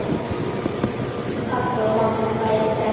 Pabbi og mamma bæði dáin.